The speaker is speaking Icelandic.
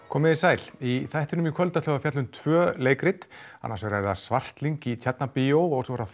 komiði sæl í þættinum í kvöld ætlum við að fjalla um tvö leikrit annars vegar er það Svartlyng í Tjarnarbíó og svo er það